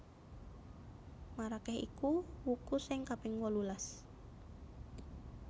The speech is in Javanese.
Marakeh iku wuku sing kaping wolulas